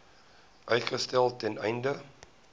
uitstel ten einde